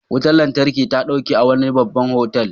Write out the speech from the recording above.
Wutar lantarki ta ɗauke a wani babban otal.